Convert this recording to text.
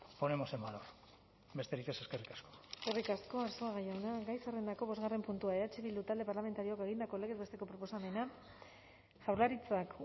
ponemos en valor besterik ez eskerrik asko eskerrik asko arzuaga jauna gai zerrendako bosgarren puntua eh bildu talde parlamentarioak egindako legez besteko proposamena jaurlaritzak